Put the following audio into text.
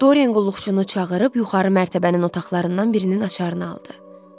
Dorian qulluqçunu çağırıb yuxarı mərtəbənin otaqlarından birinin açarını aldı.